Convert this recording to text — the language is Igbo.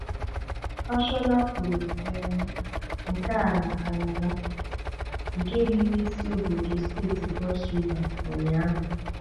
Fashola kwuru um nke a na Kalaba, nke dị n'isi obodo steeti kros Riva Ụnyaahụ.